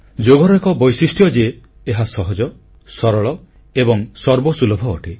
ଯୋଗର ଏକ ବୈଶିଷ୍ଟ୍ୟ ଯେ ଏହା ସହଜ ସରଳ ଏବଂ ସର୍ବସୁଲଭ ଅଟେ